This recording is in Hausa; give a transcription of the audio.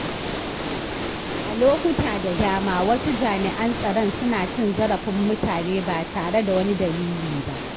A lokuta da dama wasu jami’an tsaron suna cin zarafin mutane ba tare da wani dalili ba.